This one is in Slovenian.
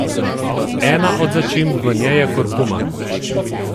Ena od začimb v njej je kurkuma.